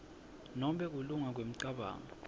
nobe kulunga kwemicabango